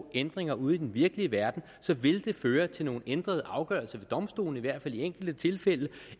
ændringer ude i den virkelige verden så vil det føre til nogle ændrede afgørelse ved domstolene i hvert fald i enkelte tilfælde